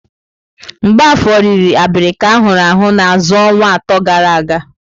Mgbafor riri abirika ahụrụ ahụ na azụ̀ ọnwa atọ gara aga.